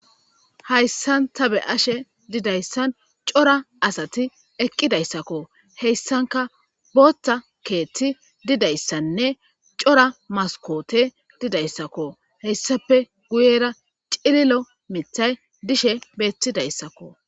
Hayssan ta be ashe didayssan cora asati eqqidayssakko heyssanka booththa keethti didayssanne cora maskoote didayssakko heyssape guyera cililo mithay dishe beetidayssakko.